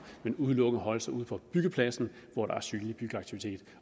men udelukkende holde sig ude på byggepladsen hvor der er synlig byggeaktivitet